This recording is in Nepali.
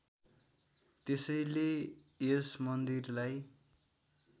त्यसैले यस मन्दिरलाई